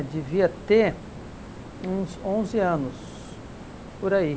devia ter uns onze anos, por aí.